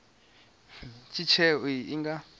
uri tsheo iyo i nga